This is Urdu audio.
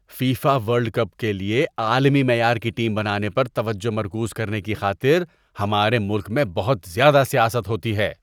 فیفا ورلڈ کپ کے لیے عالمی معیار کی ٹیم بنانے پر توجہ مرکوز کرنے کی خاطر ہمارے ملک میں بہت زیادہ سیاست ہوتی ہے۔